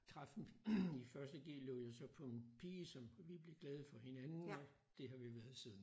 Træffen i 1. g. løb jeg så på en pige som vi blev glade for hinanden og det har vi så været siden